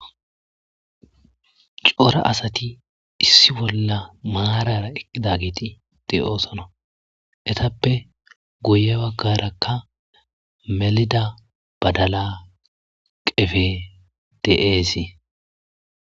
Cora asati issi bolla maarata eqidayti de'osona etappe guye bagaraka melida badala qepey de'esi.